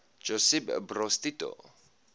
josip broz tito